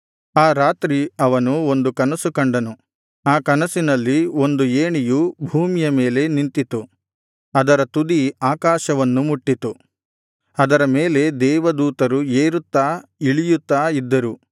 ಆ ರಾತ್ರಿ ಅವನು ಒಂದು ಕನಸು ಕಂಡನು ಆ ಕನಸಿನಲ್ಲಿ ಒಂದು ಏಣಿಯು ಭೂಮಿಯ ಮೇಲೆ ನಿಂತಿತು ಅದರ ತುದಿ ಆಕಾಶವನ್ನು ಮುಟ್ಟಿತು ಅದರ ಮೇಲೆ ದೇವ ದೂತರು ಏರುತ್ತಾ ಇಳಿಯುತ್ತಾ ಇದ್ದರು